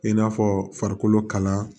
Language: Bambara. I n'a fɔ farikolo kala